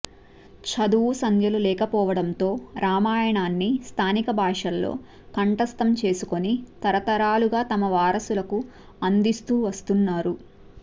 చదువు సంధ్యలు లేకపోవడంతో రామాయణాన్ని స్థానిక భాషల్లో కంఠస్థం చేసుకొని తరతరాలుగా తమ వారసులకు అందిస్తూ వస్తున్నారు